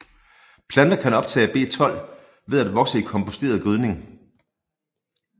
Planter kan optage B12 ved at vokse i komposteret gødning